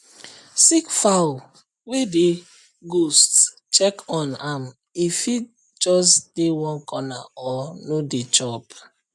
sick fowl were dey ghost check on am e fit just dey one corner or no dey chop